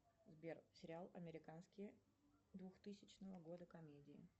сбер сериал американские двухтысячного года комедии